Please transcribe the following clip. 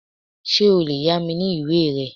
Ṣé o lè yá mi ní ìwé rẹ?